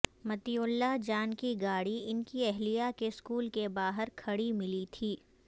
مطیع اللہ جان کی گاڑی ان کی اہلیہ کے سکول کے باہر کھڑی ملی تھی